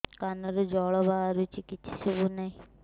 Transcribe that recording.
କାନରୁ ଜଳ ବାହାରୁଛି କିଛି ଶୁଭୁ ନାହିଁ